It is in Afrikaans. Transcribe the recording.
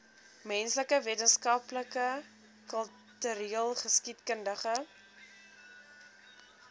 menslike wetenskappe kultureelgeskiedkundige